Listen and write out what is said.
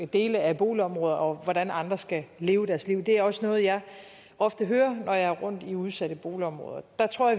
dele af boligområder og hvordan andre skal leve deres liv det er også noget jeg ofte hører når jeg er rundt i udsatte boligområder der tror